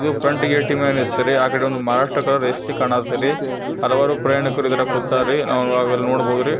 ಇದು front gate ಇಂದ ಹತ್ತಾರಿ ಆ ಕಡೆ ಒಂದು ಮಾರಾಷ್ಟ್ರ ಎಷ್ಟು ಕಾಣುತ್ತೀರಿ ಹಲವಾರು ಪ್ರಯಾಣಿಕರು ಇದರಾಗ ಕುತ್ತರಿ ನಾವು ಇದರಗ ನೋಡಬಹುದು ರೀ.